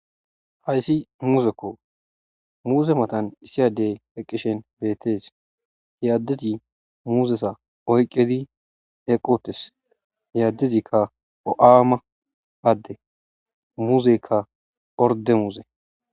Hayssi muuzekko muuze matan iisi addey eqqishin beettes. He addezi muuzeza oyqqidi eqqi uttis. He addezi bo7aama adde muuzeykka ordde muuze.